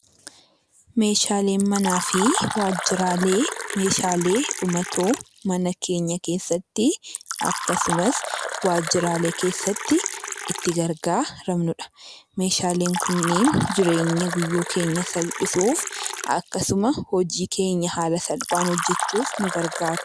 Meeshaaleen manaa fi waajjiraalee meeshaalee dhumatoo mana keenya keessatti akkasumas waajjiraalee keessatti itti gargaaramnudha. Meeshaaleen kunniin jireenya guyyuu keenya salphisuuf akkasuma hojii keenya haala salphaan hojjechuuf nu gargaaru.